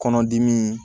Kɔnɔdimi